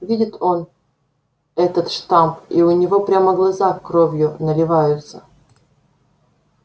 видит он этот штамп и у него прямо глаза кровью наливаются